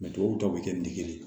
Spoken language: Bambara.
tubabuw ta bɛ kɛ ne ye